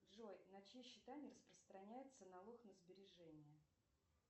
джой на чьи счета не распространяется налог на сбережения